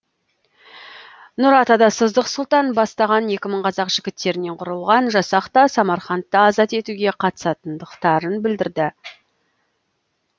нұратада сыздық сұлтан бастаған екі мың қазақ жігіттерінен құрылған жасақ та самарқандты азат етуге қатысатындықтарын білдірді